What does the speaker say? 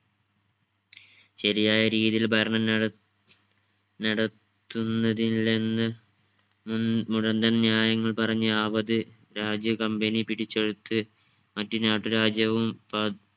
ശരിയായ രീതിയിൽ ഭരണം നട നടത്തുന്നതിൽ നിന്ന് ഉം മുടന്തൻ ന്യായങ്ങൾ പറഞ്ഞു ആവത് രാജ്യ company പിടിച്ചെടുത്ത് മറ്റു നാട്ടുരാജ്യവും